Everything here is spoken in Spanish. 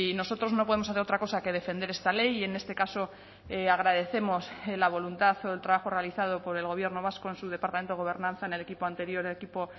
nosotros no podemos hacer otra cosa que defender esta ley y en este caso agradecemos la voluntad o el trabajo realizado por el gobierno vasco en su departamento gobernanza en el equipo anterior equipo